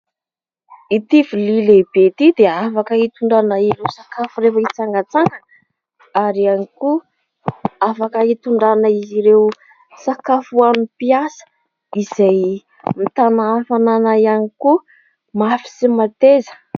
Ity vilia lehibe ity dia afaka hitondrana ireo sakafo rehefa hitsangatsangana, ary afaka hitondrana ireo sakafo ho an'ny mpiasa. Izy io dia mitana hafanana ihany koa, mafy sy mateza.